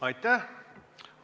Aitäh!